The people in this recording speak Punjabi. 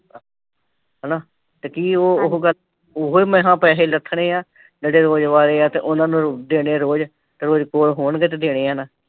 ਹੈਨਾ ਤੇ ਕੀ ਊਹ ਗਲ ਤੇ ਓਹਾ ਤੇ ਪੈਸਾ ਰਖਣੇ ਆ ਜੇੜੇ ਉਨ੍ਹਾ ਨੂ ਪੈਸੇ ਦੇਣੇ ਹੈ ਤੇ ਰੋਕ੍ਸ ਕੋਆ ਹੋਣਗੇ ਤੇ ਦੇਣੇ ਹੈ ਨਾ